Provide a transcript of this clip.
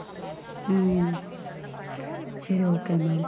ஹம் சரி okay ma'am.